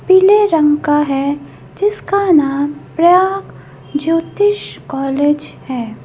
पीले रंग का है जिसका नाम ज्योतिष कॉलेज है।